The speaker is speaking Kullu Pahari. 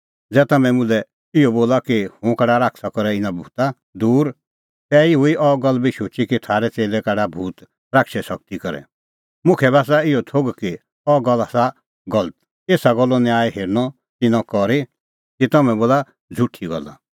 ज़ै तम्हैं मुल्है इहअ बोला कि हुंह काढा शैताना करै इना भूता दूर तै हुई अह गल्ल बी शुची कि थारै च़ेल्लै काढा भूत शैताने शगती करै मुखा बी आसा इहअ थोघ कि अह गल्ल आसा गलत एसा गल्लो न्याय हेरअ तिन्नैं करी कि तम्हैं बोला झ़ुठी गल्ला